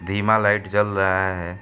धीमा लाइट जल रहा है।